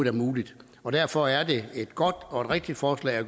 er muligt derfor er det et godt og rigtigt forslag at